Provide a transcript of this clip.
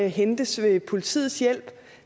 hentes ved politiets hjælp